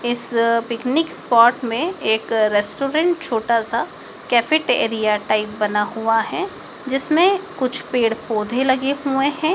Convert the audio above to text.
इस picnic spot में एक रेस्टोरेंट छोटा सा कैफेट एरिया टाइप का बना हुआ है जिसमें कुछ पेड़ पौधे लगे हुए हैं।